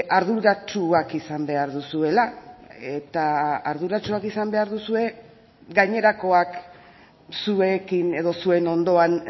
arduratsuak izan behar duzuela eta arduratsuak izan behar duzue gainerakoak zuekin edo zuen ondoan